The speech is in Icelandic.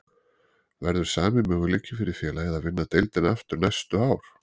Verður sami möguleiki fyrir félagið að vinna deildina aftur næstu ár?